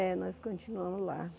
É, nós continuamos lá.